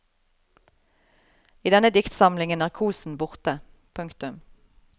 I denne diktsamlingen er kosen borte. punktum